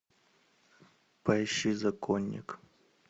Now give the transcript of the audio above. поищи законник